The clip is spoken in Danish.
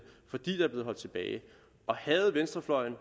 fordi der er blevet holdt tilbage havde venstrefløjen